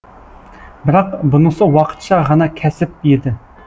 бірақ бұнысы уақытша ғана кәсіп еді